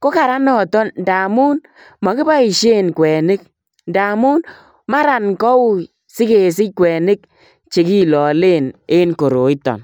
ko kararan nitok ndamun mogiboisien kwenik ndamun mara koui sigesich kwenik chegilale en koroiton.